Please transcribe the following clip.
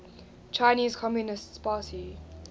chinese communist party